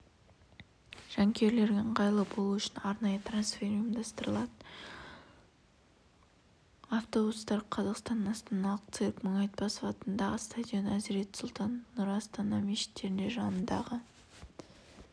жанкүйерлерге ыңғайлы болуы үшін арнайы трансфер ұйымдастырылады автобустар қазақстан астаналық цирк мұңайтпасов атындағы стадион әзірет сұлтан және нұр астана мешіттерінің жанындағы